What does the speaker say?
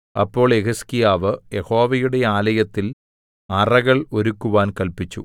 അപ്പോൾ യെഹിസ്കീയാവ് യഹോവയുടെ ആലയത്തിൽ അറകൾ ഒരുക്കുവാൻ കല്പിച്ചു